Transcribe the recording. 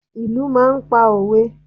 Ìlù máa ń pa òwe.